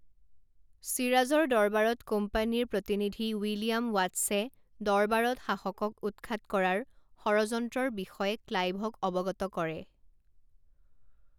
ছিৰাজৰ দৰবাৰত কোম্পানীৰ প্ৰতিনিধি উইলিয়াম ৱাটছে দৰবাৰত শাসকক উৎখাত কৰাৰ ষড়যন্ত্ৰৰ বিষয়ে ক্লাইভক অৱগত কৰে।